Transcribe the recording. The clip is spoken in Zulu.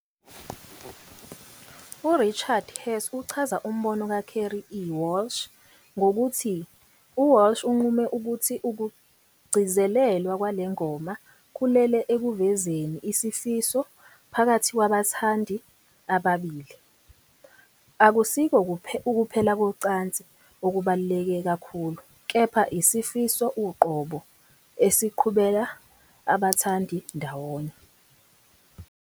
URichard Hess uchaza umbono kaCarey E. Walsh ngokuthi- "UWalsh unqume ukuthi ukugcizelelwa kwale ngoma kulele ekuvezeni isifiso phakathi kwabathandi ababili. Akusikho ukuphela kocansi okubaluleke kakhulu, kepha isifiso uqobo esiqhubela abathandi ndawonye.